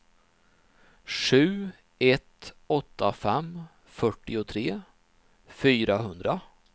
sju ett åtta fem fyrtiotre fyrahundra